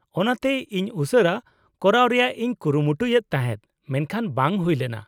-ᱚᱱᱟᱛᱮ ᱤᱧ ᱩᱥᱟᱹᱨᱟ ᱠᱚᱨᱟᱣ ᱨᱮᱭᱟᱜ ᱤᱧ ᱠᱩᱨᱩᱢᱩᱴᱩᱭᱮᱫ ᱛᱟᱦᱮᱸᱫ, ᱢᱮᱱᱠᱷᱟᱱ ᱵᱟᱝ ᱦᱩᱭ ᱞᱮᱱᱟ ᱾